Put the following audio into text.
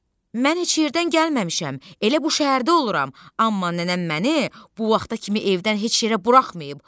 Mən heç yerdən gəlməmişəm, elə bu şəhərdə oluram, amma nənəm məni bu vaxta kimi evdən heç yerə buraxmayıb.